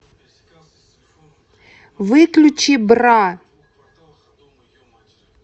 выключи бра